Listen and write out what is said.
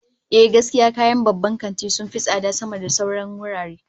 Ehh, gaskiya kayan babban kanti sun fi tsada sama da sauran wurare